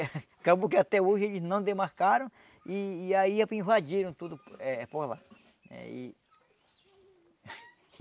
Acabou que até hoje eles não demarcaram e aí invadiram tudo eh por lá. Eh e